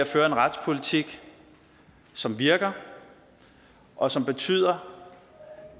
føre en retspolitik som virker og som betyder